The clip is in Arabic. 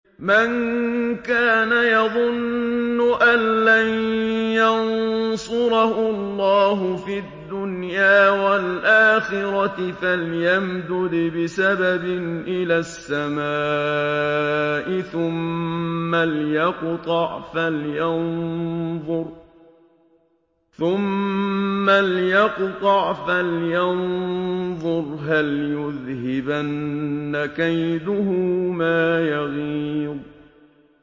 مَن كَانَ يَظُنُّ أَن لَّن يَنصُرَهُ اللَّهُ فِي الدُّنْيَا وَالْآخِرَةِ فَلْيَمْدُدْ بِسَبَبٍ إِلَى السَّمَاءِ ثُمَّ لْيَقْطَعْ فَلْيَنظُرْ هَلْ يُذْهِبَنَّ كَيْدُهُ مَا يَغِيظُ